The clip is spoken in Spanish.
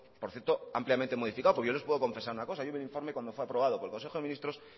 por cierto ampliamente modificado porque yo les puedo confesar una cosa hay un informe cuando fue aprobado por el consejo de ministros